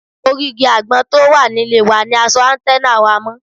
Orí igi àgbọn tó wà nílé wa ni a so áńtẹ́nà wa mọ́